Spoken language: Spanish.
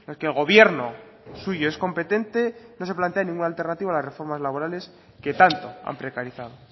que el gobierno suyo es competente no se plantea ninguna alternativa a las reformas laborales que tanto han precarizado